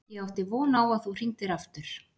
Ég átti von á að þú hringdir aftur.